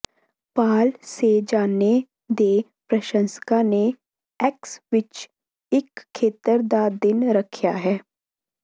ਪਾਲ Cezanne ਦੇ ਪ੍ਰਸ਼ੰਸਕਾਂ ਨੇ ਏਕਸ ਵਿਚ ਇਕ ਖੇਤਰ ਦਾ ਦਿਨ ਰੱਖਿਆ ਹੈ